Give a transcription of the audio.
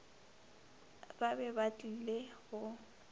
ba be ba tlile go